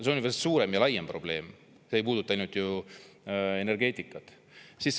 See on veel suurem ja laiem probleem, see ei puuduta ainult ju energeetikat.